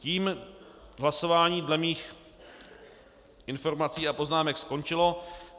Tím hlasování dle mých informací a poznámek skončilo.